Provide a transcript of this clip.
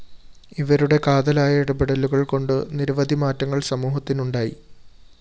ഇവരുടെ കാതലായ ഇടപെടലുകള്‍കൊണ്ട് നിരവധിമാറ്റങ്ങള്‍ സമൂഹത്തിനുണ്ടായി്